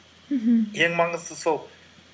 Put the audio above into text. мхм ең маңызды сол